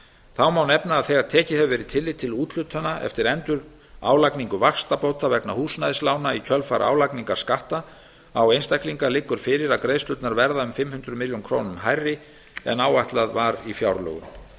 þá má nefna að þegar tekið hefur verið tillit til úthlutana eftir endurálagningu vaxtabóta vegna húsnæðislána í kjölfar álagningar skatta á einstaklinga liggur fyrir að greiðslurnar verða um fimm hundruð milljóna króna hærri en áætlað var í fjárlögum